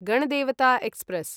Ganadevata express